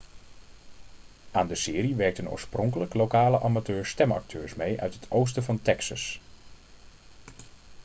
aan de serie werkten oorspronkelijk lokale amateur-stemacteurs mee uit het oosten van texas